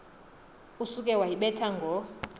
usuke wayibetha ngo